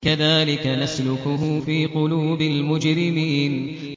كَذَٰلِكَ نَسْلُكُهُ فِي قُلُوبِ الْمُجْرِمِينَ